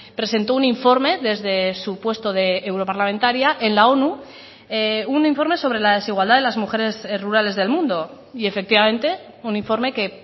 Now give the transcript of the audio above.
presentó un informe desde su puesto de europarlamentaria en la onu un informe sobre la desigualdad de las mujeres rurales del mundo y efectivamente un informe que